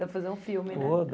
Dá para fazer um filme, né? Oh